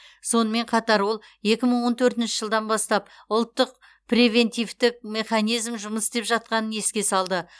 сонымен қатар ол екі мың он төртінші жылдан бастап ұлттық превентивтік механизм жұмыс істеп жатқанын еске салды